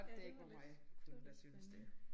Ja det var lidt det var lidt spændende